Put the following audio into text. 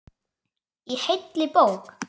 Í heilli bók.